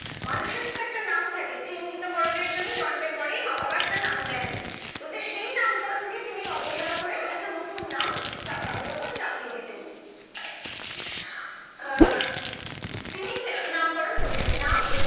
মানুষের তো একটা নাম থাকে চিহ্নিতকরণের জন্য জন্মের পরেই মা বাবা একটা নাম দেন বলছে সেই নামকরণকে তিনি অবহেলা করে একটা নতুন নাম চা তাদের উপর চাপিয়ে দিতেন। আহ তিনি আহ নামকরণ করিতেন নাম